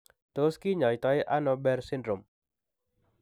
Tos kinyaii too ano Behr syndrome ?